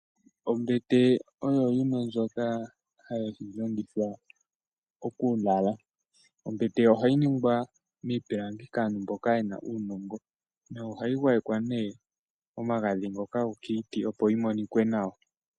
Ombete oyo yimwe ndjoka hayi longithwa okulala. Ombete ohayi ningwa miipilangi kaantu mboka yena uunongo, no hayi gwayekwa nee omagadhi ngoka gokiiti opo yi monike nawa.